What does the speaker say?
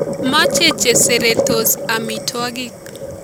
Maache cheseretos amitwogik